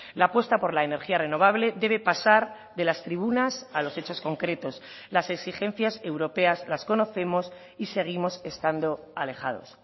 la apuesta por la energía renovable debe pasar de las tribunas a los hechos concretos las exigencias europeas las conocemos y seguimos estando alejados